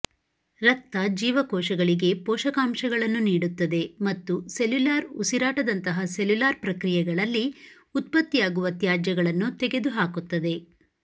ರಕ್ತ ಜೀವಕೋಶಗಳಿಗೆ ಪೋಷಕಾಂಶಗಳನ್ನು ನೀಡುತ್ತದೆ ಮತ್ತು ಸೆಲ್ಯುಲಾರ್ ಉಸಿರಾಟದಂತಹ ಸೆಲ್ಯುಲಾರ್ ಪ್ರಕ್ರಿಯೆಗಳಲ್ಲಿ ಉತ್ಪತ್ತಿಯಾಗುವ ತ್ಯಾಜ್ಯಗಳನ್ನು ತೆಗೆದುಹಾಕುತ್ತದೆ